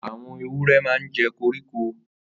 Àwọn èwúrè mà n jẹ kórikó